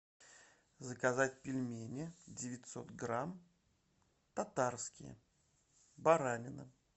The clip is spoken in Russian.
заказать пельмени девятьсот грамм татарские баранина